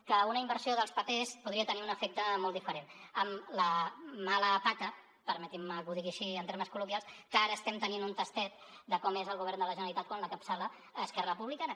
que una inversió dels papers podria tenir un efecte molt diferent amb la mala pata permetin me que ho digui així en termes col·loquials que ara estem tenint un tastet de com és el govern de la generalitat quan l’encapçala esquerra republicana